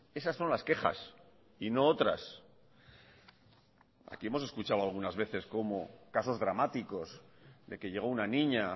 esas son las quejas y no otras aquí hemos escuchado algunas veces cómo casos dramáticos de que llegó una niña